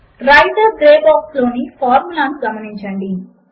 writer grey box లోని formula ను గమనించండి